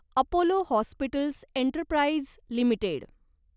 Apollo hospitals enterprise limited